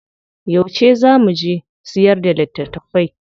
Yauce zaa mu je mu siyar da litattafai?